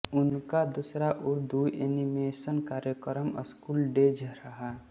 उनका दूसरा उर्दू एनीमेशन कार्यक्रम स्कूल डेज रहा